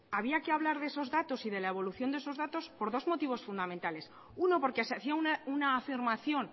había que había que hablar de esos datos y de la evolución de esos datos por dos motivos fundamentales uno porque se hacía una afirmación